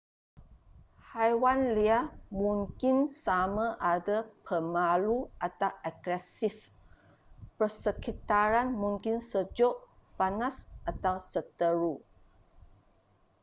haiwan liar mungkin sama ada pemalu atau agresif persekitaran mungkin sejuk panas atau seteru